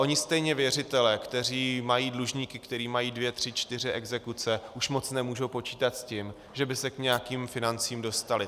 Oni stejně věřitelé, kteří mají dlužníky, kteří mají dvě tři čtyři exekuce, už moc nemůžou počítat s tím, že by se k nějakým financím dostali.